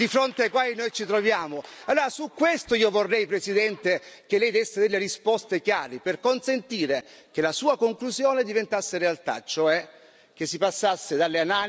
Allora su questo io vorrei, Presidente, che lei desse delle risposte chiare, per consentire che la sua conclusione diventasse realtà, cioè che si passasse dalle analisi, dalle parole ai fatti.